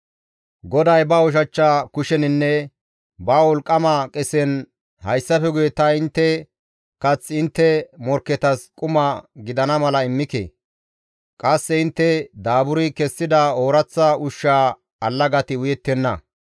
GODAY ba ushachcha kusheninne ba wolqqama qesen, «Hayssafe guye ta intte kath intte morkketas quma gidana mala immike; qasse intte daaburi kessida ooraththa ushshaa allagati uyettenna.